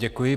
Děkuji.